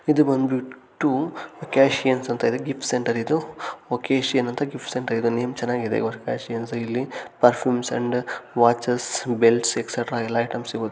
ಇದು ಬಂದ್ಬಿಟ್ಟು ಒಕ್ಕಸಿಯೊನ್ಸ್ ಅಂತ ಇದೆ ಗಿಫ್ಟ್ ಸೆಂಟರ್ ಇದು ಒಚ್ಚಸಿಯೋನ್ ಅಂತ ಗಿಫ್ಟ್ ಸೆಂಟರ್ ಇದು ನೇಮ್ ಚೆನ್ನಾಗಿದೆ ಒಕ್ಕಸಿಯೊನ್ಸ್ ಇಲ್ಲಿ perfumes and watches belts etcetera ಎಲ್ಲ ಐಟೆಮ್ಸ ಸಿಗುತ್ತೆ .